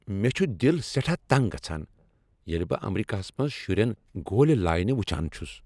مےٚ چُھ دل سٮ۪ٹھاہ تنٛگ گژھان ییٚلہ بہٕ امریكاہس منز شٗرین گولہِ لاینہِ وٗچھان چھٗس ۔